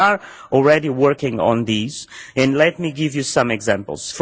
We are already working on these and let me give you some examples.